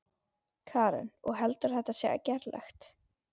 Karen: Og heldurðu að þetta sé gerlegt?